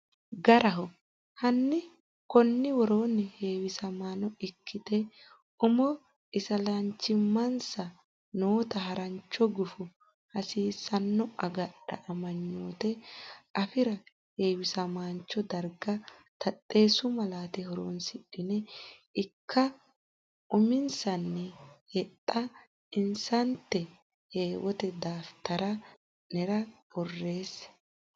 Garaho hanni konni woroonni heewisamaano ikkate umo isilanchimmansa noota harancho gufo hasiisanno agadha amanyoote afi ra heewisamancho darga taxxeessu malaate horonsidhine ikka uminsanni hexxa insaneete heewote daftari nera borreesse.